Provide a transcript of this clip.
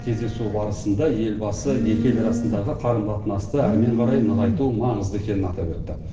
кездесу барысында елбасы екі ел арасындағы қарым қатынасты әрмен қарай нығайту маңызды екенін атап өтті